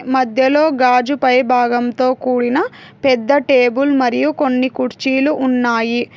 మధ్యలో గాజు పై భాగంతో కూడిన పెద్ద టేబుల్ మరియు కొన్ని కుర్చీలు ఉన్నాయి.